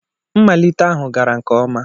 Mmalite ahụ gara nke ọma.